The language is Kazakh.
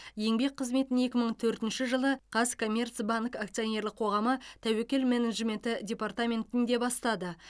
еңбек қызметін екі мың төртінші жылы қазкоммерцбанк акционерлік қоғамы тәуекел менеджменті департаментінде бастады